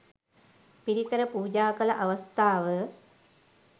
පිරිකර පූජා කළ අවස්ථාව